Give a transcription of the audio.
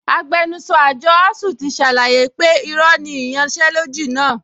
Agbẹnusọ àjọ ASUU ti ṣàlàyé pé irọ́ ni ìyanṣẹ́lódì náà